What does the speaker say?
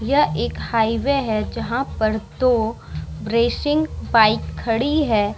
यह एक हाईवे है जहाँ पर दो रेसिंग बाइक खड़ी है।